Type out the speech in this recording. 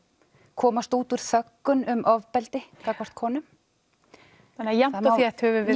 komast út úr þöggun um ofbeldi gagnvart konum þannig jafnt og þétt höfum við